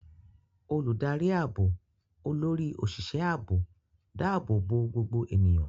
Olùdarí ààbò, Olórí Òṣìṣẹ́ Ààbò, dáàbò bo gbogbo ènìyàn.